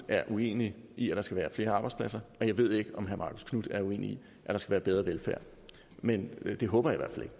er uenig i at der skal være flere arbejdspladser og jeg ved ikke om herre marcus knuth er uenig i at der skal bedre velfærd men det håber